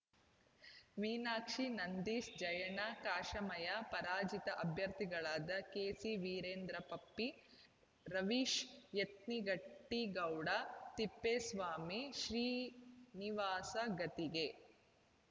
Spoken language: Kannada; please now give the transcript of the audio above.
ಮೀನಾಕ್ಷಿ ನಂದೀಶ್‌ ಜಯಣ್ಣ ಕಾಶಮಯ್ಯ ಪರಾಜಿತ ಅಭ್ಯರ್ಥಿಗಳಾದ ಕೆಸಿವೀರೇಂದ್ರ ಪಪ್ಪಿ ರವೀಶ್‌ ಯತ್ನಟ್ಟಿಗೌಡ ತಿಪ್ಪೇಸ್ವಾಮಿ ಶ್ರೀನಿವಾಸ್‌ಗದ್ದಿಗೆ